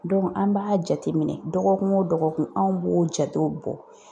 an b'a jateminɛ dɔgɔkun o dɔgɔkun anw b'o jatew bɔ..